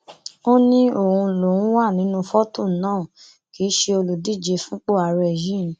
ó ní òun lòún wà nínú fọtò náà kì í ṣe olùdíje fúnpọ àárẹ yìí